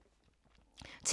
TV 2